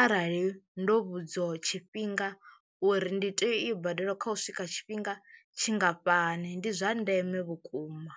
arali ndo vhudziwa tshifhinga uri ndi to i badela kha u swika tshifhinga tshingafhani ndi zwa ndeme vhukuma.